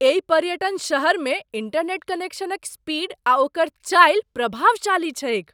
एहि पर्यटन शहरमे इंटरनेट कनेक्शनक स्पीड आ ओकर चालि प्रभावशाली छैक।